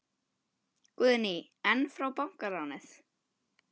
Guðný: En frá bankaráði?